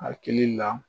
Hakili la